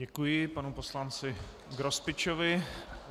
Děkuji panu poslanci Grospičovi.